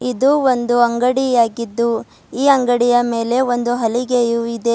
ಇದು ಒಂದು ಅಂಗಡಿಯಾಗಿದ್ದು ಈ ಅಂಗಡಿಯ ಮೇಲೆ ಒಂದು ಹಲಗೆಯು ಇದೆ.